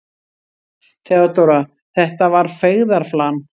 THEODÓRA: Þetta var feigðarflan.